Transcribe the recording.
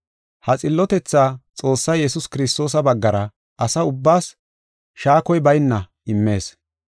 Ha xillotethaa, Xoossay Yesuus Kiristoosa baggara asa ubbaas shaakoy bayna immees.